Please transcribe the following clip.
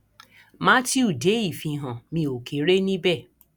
mátíù dé ìfihàn mi ó kéré níbẹ